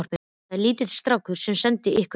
Það var lítill strákur sem sendi ykkur þá.